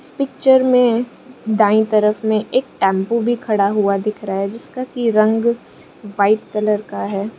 इस पिक्चर में दाईं तरफ में एक टेंपो भी खड़ा हुआ दिख रहा है जिसका की रंग व्हाइट कलर का है।